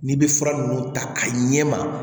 N'i bɛ fura ninnu ta ka ɲɛma